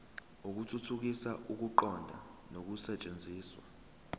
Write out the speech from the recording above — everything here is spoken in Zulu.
ukuthuthukisa ukuqonda nokusetshenziswa